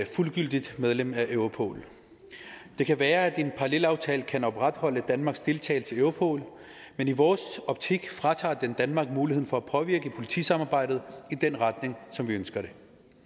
fuldgyldigt medlem af europol det kan være at en parallelaftale kan opretholde danmarks deltagelse i europol men i vores optik fratager den danmark muligheden for at påvirke politisamarbejdet i den retning som vi ønsker det